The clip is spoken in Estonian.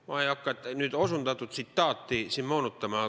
Ma ei hakka nüüd osutatud tsitaati siin moonutama.